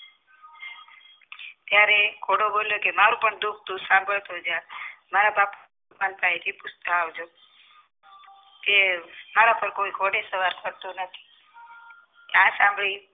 ત્યારે ઘોડો બોલ્યો કે મારું પણ દુઃખ તું સાંભળ તો જા મારા માનથા એ થી પૂછતાં આવજો કે મારા પર કોઈ ઘોડે સવાર કરતું નથી આ સાંભળી